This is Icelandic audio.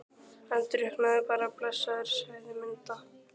Hann drukknaði bara blessaður, sagði Munda.